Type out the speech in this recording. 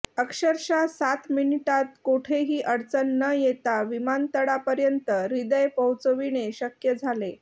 अक्षरशः सात मिनिटांत कोठेही अडचण न येता विमानतळापर्यंत हृदय पोहोचविणे शक्य झाले